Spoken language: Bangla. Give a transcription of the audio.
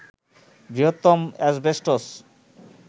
বৃহত্তম অ্যাসবেস্টস